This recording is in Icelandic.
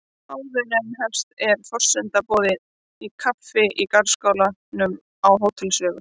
Áður en hún hefst er forseta boðið kaffi í garðskálanum á Hótel Sögu.